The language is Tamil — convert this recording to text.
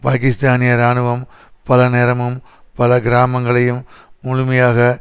பாக்கிஸ்தானிய இராணுவம் பல நேரமும் பல கிராமங்களையும் முழுமையாக